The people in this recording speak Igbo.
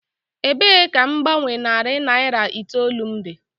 Ebee ka mgbanwe narị naira itoolu m dị?